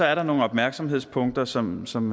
er der nogle opmærksomhedspunkter som som